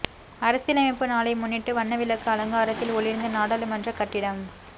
அரசியலமைப்பு நாளை முன்னிட்டு வண்ண விளக்கு அலங்காரத்தில் ஒளிர்ந்த நாடாளுமன்ற கட்டிடம்